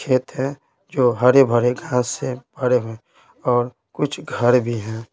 खेत है जो हरे भरे घास से भरे हुए हैं और कुछ घर भी हैं।